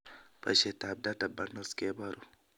Boishetab data bundles keboru